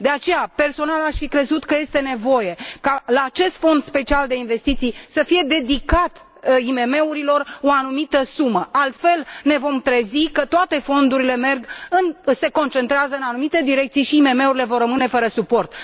De aceea, personal aș fi crezut că este nevoie ca în cadrul acestui fond special de investiții să se dedice IMM urilor o anumită sumă, altfel ne vom trezi că toate fondurile se concentrează în anumite direcții și IMM urile vor rămâne fără suport.